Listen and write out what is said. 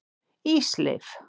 Ísleif